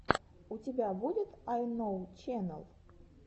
у тебя будет айноу ченэл